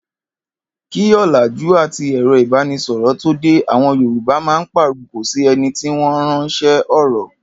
Kí ò̩làjú àti è̩ro̩ ìbánisò̩rò̩ tó dé, àwo̩n Yorùbá a máa pàrokò sí e̩ni tí wó̩n ráns̩é̩ ò̩rò̩